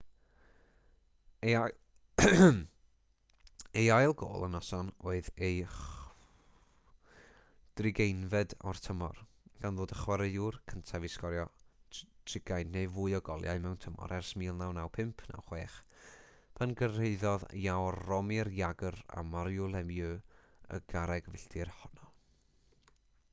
ei ail gôl y noson oedd ei 60fed o'r tymor gan ddod y chwaraewr cyntaf i sgorio 60 neu fwy o goliau mewn tymor ers 1995-96 pan gyrhaeddodd jaromir jagr a mario lemieux y garreg filltir honno